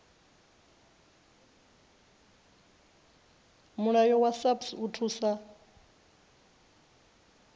mulayo wa saps u thusa